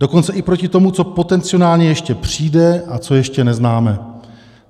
Dokonce i proti tomu, co potenciálně ještě přijde a co ještě neznáme."